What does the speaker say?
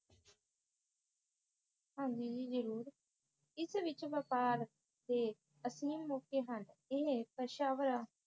ਹਾਂਜੀ ਜੀ ਜਰੂਰ ਇਸ ਵਿਚ ਵ੍ਯਪਾਰ ਦੇ ਅਸੀਮ ਮੌਕੇ ਹਨ ਇਹ ਪਸ਼ਾਵਰਾ